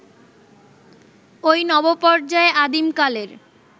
ওই নবপর্যায়ে আদিমকালের